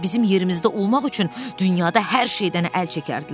Bizim yerimizdə olmaq üçün dünyada hər şeydən əl çəkərdilər.